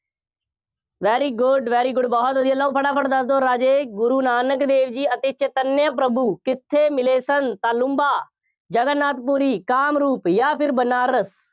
very good, very good ਬਹੁ ਵਧੀਆ, ਲਓ, ਫਟਾਫਟ ਦੱਸ ਦਿਓ ਰਾਜੇ, ਗੁਰੂ ਨਾਨਕ ਦੇਵ ਜੀ ਅਤੇ ਚੇਤੰਨਆ ਪ੍ਰਭੂ ਕਿੱਥੇ ਮਿਲੇ ਸਨ? ਤਾਲੂੰਬਾ, ਜਗਨ-ਨਾਥ ਪੁਰੀ, ਕਾਮਰੂਪ ਜਾਂ ਫਿਰ ਬਨਾਰਸ।